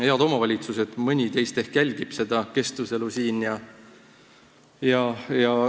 Head omavalitsuste inimesed, mõni teist ehk jälgib seda keskustelu siin.